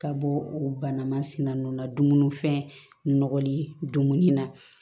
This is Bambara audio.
Ka bɔ o bana masina ninnu na dumuni fɛn nɔgɔlen na